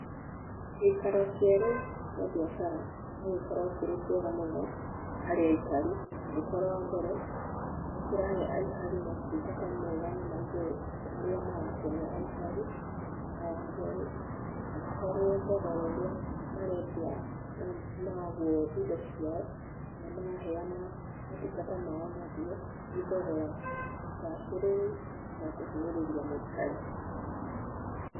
Gĩikaro kĩerũ kĩa biacara no gĩkorũo kĩrĩ kĩega mũno harĩ aikari angĩkorwo wa mbere, nĩkĩrahe aikari maũtungata mega na maigũru marĩa marakenia aikari, na wakĩre, angĩkorwo thogora ũrĩa marendia nonũgwo indo ciao kana maraheana motungata mao naguo, nĩ thogora mũbacĩrĩru utakũhinyĩrĩria mũikari.